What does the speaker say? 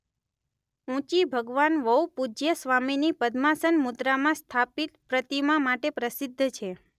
ઊંચી ભગવાન વૌપૂજ્યસ્વામીની પદ્માસન મુદ્રામાં સ્થાપિત પ્રતિમા માટે પ્રસિદ્ધ છે.